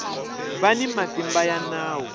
va ni matimba ya nawu